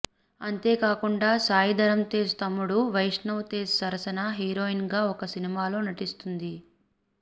అంతేకాకుండా సాయి ధరమ్ తేజ్ తమ్ముడు వైష్ణవ్ తేజ్ సరసన హీరోయిన్ గా ఒక సినిమాలో నటిస్తుంది